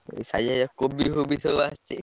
କୋବି ଫୋବି ସବୁ ଆସିଛି।